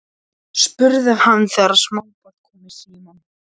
spurði hann þegar smábarn kom í símann.